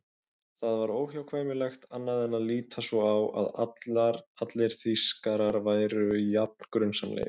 Það var óhjákvæmilegt annað en að líta svo á að allir Þýskarar væru jafn grunsamlegir.